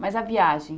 Mas a viagem?